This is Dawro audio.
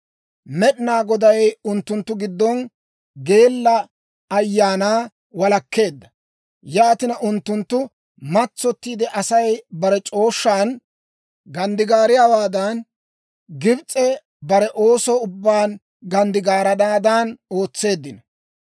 Med'inaa Goday unttunttu giddon geella ayaanaa walakkeedda; yaatina, unttunttu matsottiide Asay bare c'ooshshan ganddigaariyaawaadan, Gibs'ee bare ooso ubbaan ganddigaaranaadan ootseeddino.